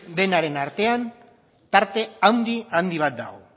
denaren artean tarte handi bat dago